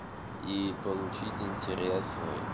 и получить интерес свой